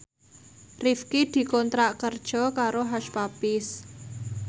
Rifqi dikontrak kerja karo Hush Puppies